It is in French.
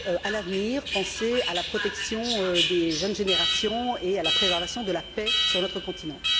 à l'avenir, penser à la protection des jeunes générations et à la préservation de la paix sur notre continent.